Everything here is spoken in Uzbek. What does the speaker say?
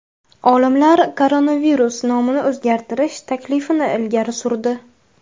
Olimlar koronavirus nomini o‘zgartirish taklifini ilgari surdi.